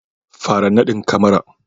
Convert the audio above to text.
fara nadin kamara